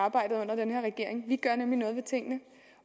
arbejdet under den her regering vi gør nemlig noget ved tingene